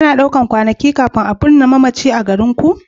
Ana ɗaukar kwanakai kafin a binne mamaci a garinku?